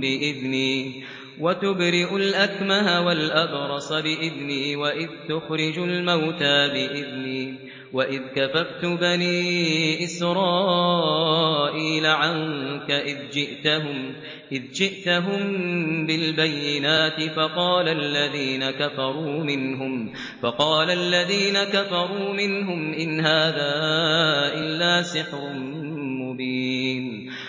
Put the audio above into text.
بِإِذْنِي ۖ وَتُبْرِئُ الْأَكْمَهَ وَالْأَبْرَصَ بِإِذْنِي ۖ وَإِذْ تُخْرِجُ الْمَوْتَىٰ بِإِذْنِي ۖ وَإِذْ كَفَفْتُ بَنِي إِسْرَائِيلَ عَنكَ إِذْ جِئْتَهُم بِالْبَيِّنَاتِ فَقَالَ الَّذِينَ كَفَرُوا مِنْهُمْ إِنْ هَٰذَا إِلَّا سِحْرٌ مُّبِينٌ